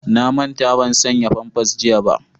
na manta ban saya famfas jiya ba